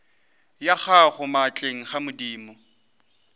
ya gago maatleng a madimo